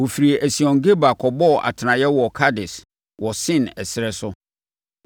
Wɔfirii Esion-Geber kɔbɔɔ atenaeɛ wɔ Kades, wɔ Sin ɛserɛ so.